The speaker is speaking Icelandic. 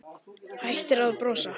Hættir að brosa.